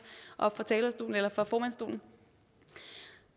oppe fra formandsstolen